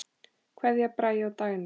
Kveðja, Bragi og Dagný.